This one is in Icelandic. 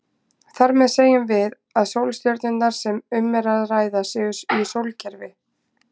Þar með segjum við að sólstjörnurnar sem um er að ræða séu í sólkerfi.